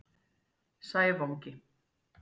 Sævangi